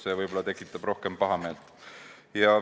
See võib-olla tekitab rohkem pahameelt.